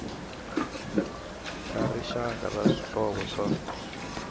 ra rixaka ra swihlovo swa